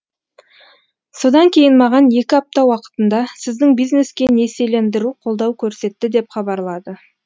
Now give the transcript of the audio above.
содан кейін маған екі апта уақытында сіздің бизнеске несиелендіру қолдау көрсетті деп хабарлады